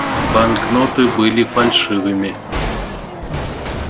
банкноты были фальшивыми